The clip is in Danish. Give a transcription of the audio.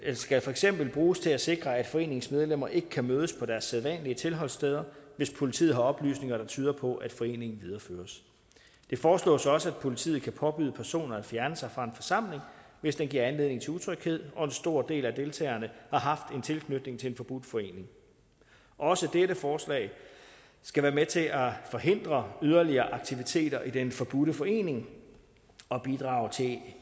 skal for eksempel bruges til at sikre at foreningens medlemmer ikke kan mødes på deres sædvanlige tilholdssteder hvis politiet har oplysninger der tyder på at foreningen videreføres det foreslås også at politiet kan påbyde personer at fjerne sig fra en forsamling hvis den giver anledning til utryghed og en stor del af deltagerne har haft en tilknytning til en forbudt forening også dette forslag skal være med til at forhindre yderligere aktiviteter i den forbudte forening og bidrage til